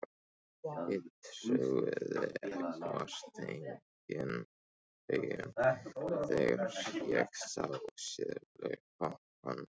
Ég trúði vart eigin augum þegar ég sá seðlabunkann.